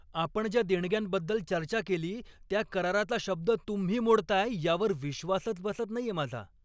आपण ज्या देणग्यांबद्दल चर्चा केली त्या कराराचा शब्द तुम्ही मोडताय यावर विश्वासच बसत नाहीये माझा.